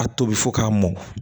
A tobi fo k'a mɔn